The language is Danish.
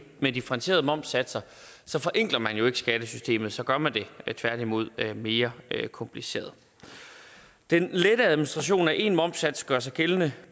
med differentierede momssatser forenkler man jo ikke skattesystemet så gør man det tværtimod mere kompliceret den lette administration af en momssats gør sig gældende